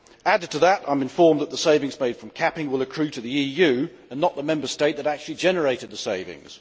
Added to that, I am informed that the savings made from capping will accrue to the EU and not the Member State that actually generated the savings.